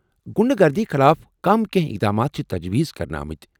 غُنڈٕ گردی خلاف کم كینہہ اقدامات چھِ تجویز کرنہٕ آمٕتۍ ۔